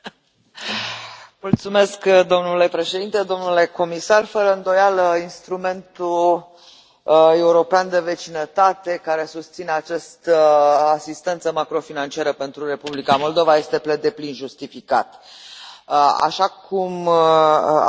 Domnule președinte, domnule comisar, fără îndoială, Instrumentul european de vecinătate, care susține această asistență macrofinanciară pentru Republica Moldova, este pe deplin justificat, așa cum a declarat Comisia și, din